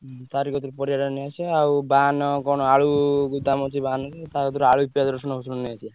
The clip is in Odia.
ତାରି କତିରୁ ପରିବାଟା ନେଇଆସିବା ଆଉ ବାହାନ କଣ ଆଳୁ ଗୋଦାମ ଅଛି ବାହାନର ତା କତିରୁ ଆଳୁ, ପିଆଜ, ରସୁଣ ସବୁ ନେଇଆସିଆ।